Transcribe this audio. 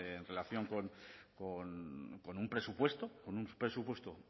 en relación con un presupuesto con un presupuesto